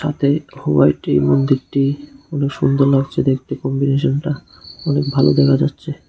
তাতে হোয়াইট এই মন্দিরটি খুবই সুন্দর লাগছে দেখতে কম্বিনেশনটা খুব ভালো দেখা যাচ্ছে।